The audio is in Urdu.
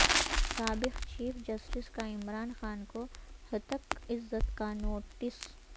سابق چیف جسٹس کا عمران خان کو ہتک عزت کا نوٹس